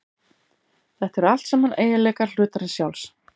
Þetta eru allt saman eiginleikar hlutarins sjálfs.